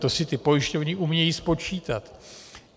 To si ty pojišťovny umějí spočítat.